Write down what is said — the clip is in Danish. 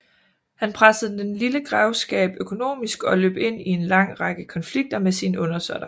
Han pressede den lille grevskab økonomisk og løb ind i en lang række konflikter med sine undersåtter